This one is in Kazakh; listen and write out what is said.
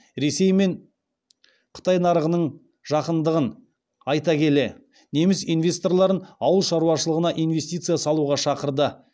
ресей мен қытай нарығының жақындығын айта келе неміс инвесторларын ауыл шаруашылығына инвестиция салуға шақырды